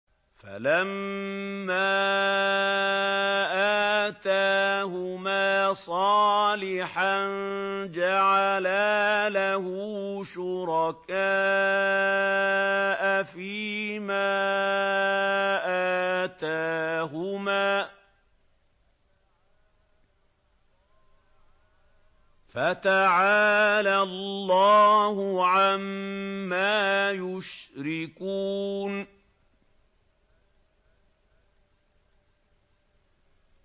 فَلَمَّا آتَاهُمَا صَالِحًا جَعَلَا لَهُ شُرَكَاءَ فِيمَا آتَاهُمَا ۚ فَتَعَالَى اللَّهُ عَمَّا يُشْرِكُونَ